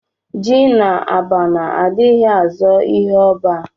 Ji na abana adighi azo ihu oba